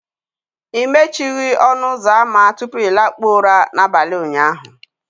ị mechighị ọnụ ụzọ ámá tupu ị lakpuo ụra n'abalị ụnyaahụ